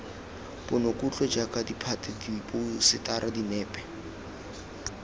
ponokutlo jaaka ditphate diphousetara dinepe